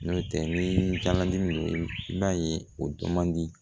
N'o tɛ ni kalan i b'a ye o dɔn man di